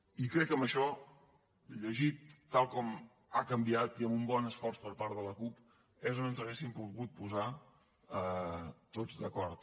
i crec que en això llegit tal com ha canviat i amb un bon esforç per part de la cup és on ens hauríem pogut posar tots d’acord